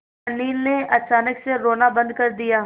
अनिल ने अचानक से रोना बंद कर दिया